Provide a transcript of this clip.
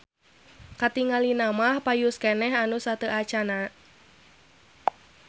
Katingalina mah payus keneh anu sateuacanna.